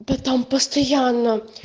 да там постоянно